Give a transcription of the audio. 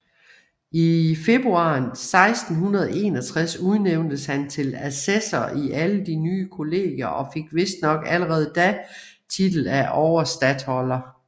I februar 1661 udnævntes han til assessor i alle de nye kollegier og fik vistnok allerede da titel af overstatholder